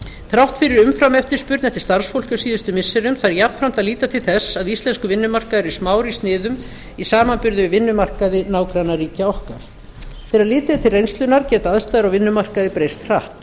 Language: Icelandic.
þrátt fyrir umframeftirspurn eftir starfsfólki á síðustu missirum þarf jafnframt að líta til þess að íslenskur vinnumarkaður er smár í sniðum í samanburði við vinnumarkaði nágrannaríkja okkar þegar litið er til reynslunnar geta aðstæður á vinnumarkaði breyst hratt